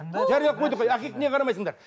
жариялап қойдық қой неге қарамайсыңдар